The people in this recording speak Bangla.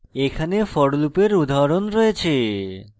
এখানে for লুপের উদাহরণ রয়েছে